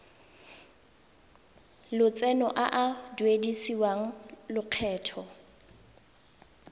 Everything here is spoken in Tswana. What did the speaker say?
lotseno a a duedisiwang lokgetho